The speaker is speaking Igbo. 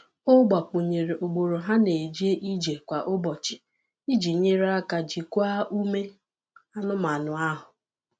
O gbakwụnyere ugboro ha na-eje ije kwa ụbọchị iji nyere aka jikwaa ume anụmanụ ahụ.